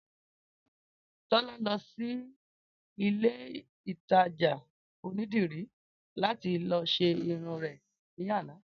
Tólá lọsí ilé ìtajà onídìrí láti lọ ṣe irun rè ní àná